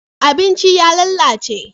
abincin ya lalace